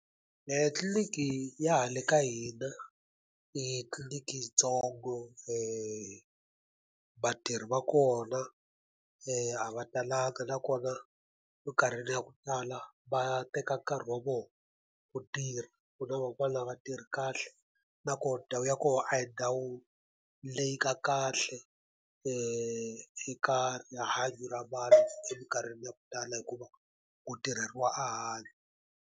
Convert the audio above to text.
Tliliniki ya hala ka hina, i titliliniki yintsongo, vatirhi va kona a va talanga na kona minkarhini ya ku tala va teka nkarhi wa vona ku tirha. Ku van'wana a va tirhi kahle na koho ndhawu ya koho a hi ndhawu leyi nga kahle eka rihanyo ra vanhu eminkarhini ya ku tala hikuva, ku tirheriwa ehandle.